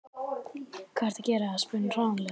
Hvað ertu að gera? spurði hún hranalega.